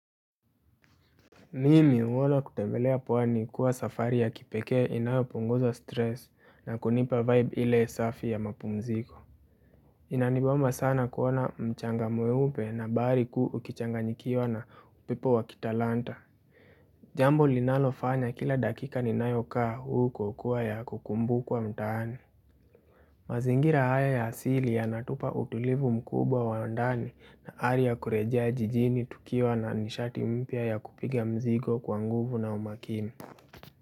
Mimi uolo kutembelea pwani kuwa safari ya kipeke inayo punguza stress, na kunipa vibe ile safi ya mapumziko. Inaniboma sana kuona mchanga mweupe na bahari kuu ukichanganyikiwa na upepo wa kitalanta. Jambo linalofanya kila dakika ninayokaa huko kuwa ya kukumbukwa mtaani. Mazingira haya ya asili yanatupa utulivu mkubwa wa ndani, na ari ya kurejea jijini tukiwa na nishati mpya ya kupiga mzigo kwa nguvu na umakini.